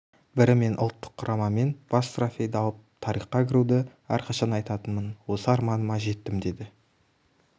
бірі мен ұлттық құрамамен бас трофейді алып тарихқа кіруді әрқашан айтатынмын осы арманыма жеттім деді